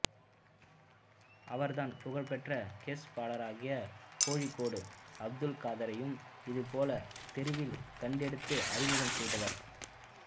அவர்தான் புகழ்பெற்ற கெஸ் பாடகராகிய கோழிக்கோடு அப்துல்காதரையும் இதைப்போல தெருவில் கண்டெடுத்து அறிமுகம் செய்தவர்